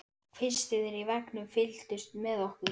Það þurfti tengingu, nokkur ár á galeiðunni, skipbrot, uppgjöf.